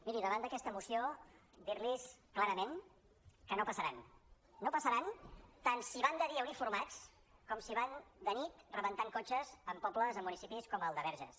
miri davant d’aquesta moció dir·los clarament que no passaran no passaran tant si van de dia uniformats com si van de nit reben·tant cotxes en pobles en municipis com el de verges